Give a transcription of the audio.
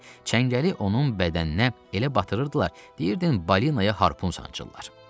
çəngəli onun bədəninə elə batırırdılar, deyirdin balinaya harpun sancırlar.